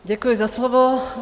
Děkuji za slovo.